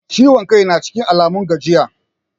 Ciwon kai na cikin Alamun gajiya?